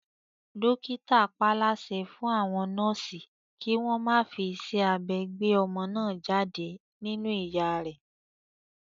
Dókítà paálásẹ fún àwọn nọ́ọ̀sì kí wọ́n má fi iṣẹ́ abẹ gbé ọmọ náà jáde nínú ìyá rẹ